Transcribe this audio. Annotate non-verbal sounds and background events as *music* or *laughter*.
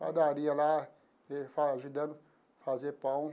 Padaria lá, *unintelligible* ajudando a fazer pão.